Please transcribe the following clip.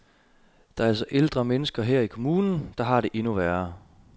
Der er altså ældre mennesker her i kommunen, der har det endnu værre.